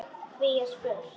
Hví er spurt?